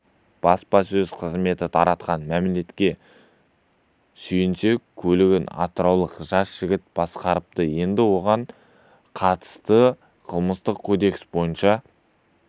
баспасөз қызметі таратқан мәліметке сүйенсек көлігін атыраулық жас жігіт басқарыпты енді оған қатысты қылмыстық кодекстің бойынша